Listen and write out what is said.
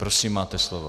Prosím, máte slovo.